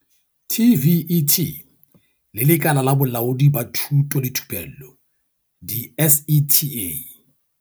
TVET le Lekala la Bolaodi ba Thuto le Thupello di-SETA.